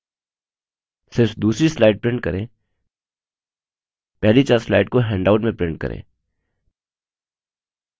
सिर्फ दूसरी slide print करें पहली चार slide को हैण्डआउट में print करें